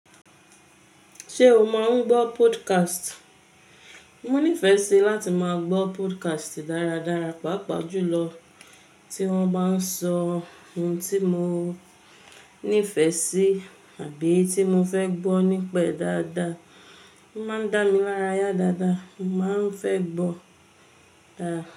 Ṣé o máa ń gbọ́ podcast? Mo nífẹ̀ẹ́ sí láti máa gbọ́ podcast dáradára, pàápàá jùlọ tí wọ́n bá ń sọ ohun tí mo nífẹ̀ẹ́ sí àbí tí mo fẹ́ gbọ́ nípa e dáadáa. Ó máa ń dá mi lára yá dáadáa, mo máa ń fẹ́ gbọ́.